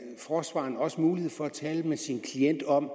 forsvareren også mulighed for at tale med sin klient om